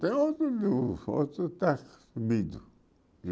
Tem outro está sumido.